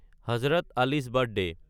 হজৰত আলি'চ বাৰ্থডে